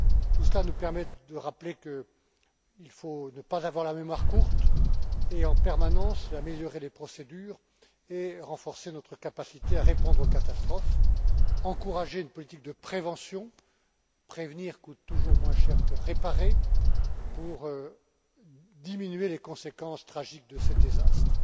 Tout cela nous permet de rappeler qu'il ne faut pas avoir la mémoire courte et, en permanence, améliorer les procédures et renforcer notre capacité à répondre aux catastrophes, encourager une politique de prévention prévenir coûte toujours moins cher que réparer pour diminuer les conséquences tragiques de ces désastres.